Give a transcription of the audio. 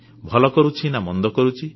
ଭଲ କରୁଛି ନା ମନ୍ଦ କରୁଛି